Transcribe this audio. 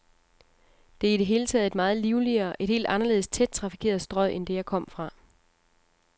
Det er i det hele taget et meget livligere, et helt anderledes tæt trafikeret strøg end det, jeg kom fra.